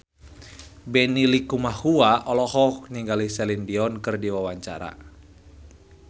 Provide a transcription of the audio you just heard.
Benny Likumahua olohok ningali Celine Dion keur diwawancara